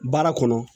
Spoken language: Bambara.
Baara kɔnɔ